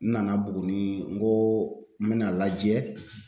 N nana Buguni n koo n bɛn'a lajɛ